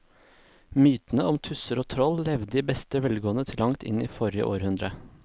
Mytene om tusser og troll levde i beste velgående til langt inn i forrige århundre.